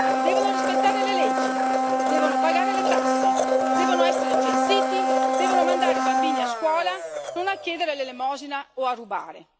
Devono rispettare le leggi, devono pagare le tasse, devono essere censiti, devono mandare i bambini a scuola e non a chiedere l'elemosina o a rubare.